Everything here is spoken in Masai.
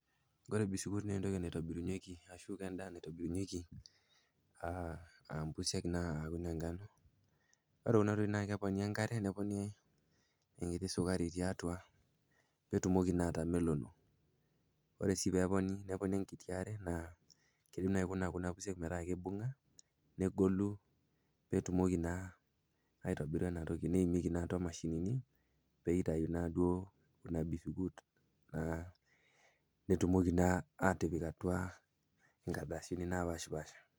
Oore bisikuiti naa entoki naitoburunyieki arashu ken'daa naitobirunyieki engano, oore kuuna tokitin naa keponi enkare neponi enkiti sukari tiatua, peyie etumoki naa atamelono. Oore sii peyie eponi neponi enkiti aare negolu peyie etumoki naa aitobira eena toki. Neimieki naa aatua imashinini peyie eitau naa kuuna bisikut nepiki inkardasini napashipaasha.